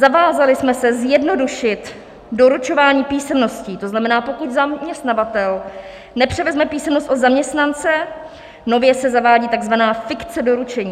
Zavázali jsme se zjednodušit doručování písemností, to znamená, pokud zaměstnavatel nepřevezme písemnost od zaměstnance, nově se zavádí tzv. fikce doručení.